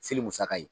Seli musaka ye